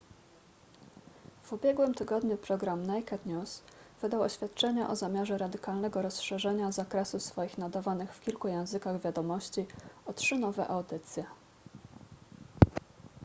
w ubiegłym tygodniu program naked news wydał oświadczenie o zamiarze radykalnego rozszerzenia zakresu swoich nadawanych w kilku językach wiadomości o trzy nowe audycje